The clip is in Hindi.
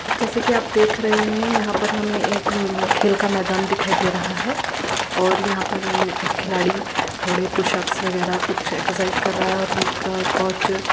जैसा की आप देख रहे हैं यहाँ पर हमे एक अ खेल का मेदान दिखाई दे रहा है। और यहाँ पर एक खिलाड़ी थोड़े पुश अप वगेरा कुछ एक्सर्साइज़ कर रहा है और इनका कोच --